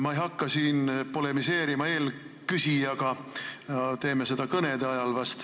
Ma ei hakka siin eelküsijaga polemiseerima, teen seda vast kõnede ajal.